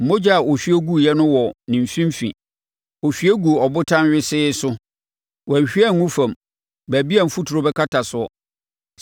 “ ‘Mogya a ɔhwie guiɛ no wɔ ne mfimfini: ɔhwie guu ɔbotan wesee so; wanhwie angu fam, baabi a mfuturo bɛkata soɔ.